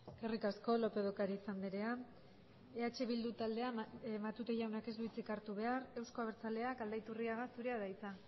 eskerrik asko lópez de ocariz andrea eh bildu taldea matute jaunak ez du hitzik hartu behar euzko abertzaleak aldaiturriaga zurea da hitza